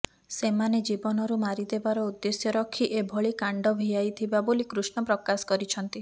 ସେମାନେ ଜୀବନରୁ ମାରି ଦେବାର ଉଦ୍ଦେଶ୍ୟ ରଖି ଏଭଳି କାଣ୍ଡ ଭିଆଇ ଥିବା ବୋଲି କୃର୍ଷ୍ଣ ପ୍ରକାଶ କରିଛନ୍ତି